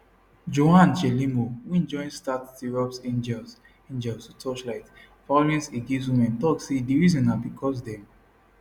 joan chelimo wey join start tirops angels angels to torchlight violence against women tok say di reason na bicos dem